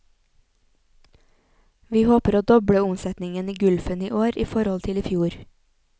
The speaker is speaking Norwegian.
Vi håper å doble omsetningen i gulfen i år i forhold til i fjor.